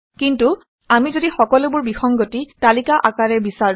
কিন্তু আমি যদি সকলোবোৰ বিসংগতি তালিকা আকাৰে বিচাৰোঁ